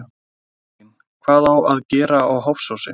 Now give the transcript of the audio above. Elín: Hvað á að gera á Hofsósi?